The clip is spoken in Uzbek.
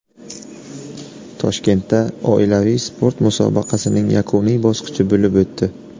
Toshkentda oilaviy sport musobaqasining yakuniy bosqichi bo‘lib o‘tdi.